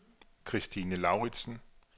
Kristine Lauritzen